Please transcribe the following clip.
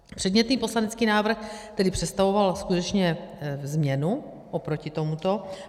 Předmětný poslanecký návrh tedy představoval skutečně změnu oproti tomuto.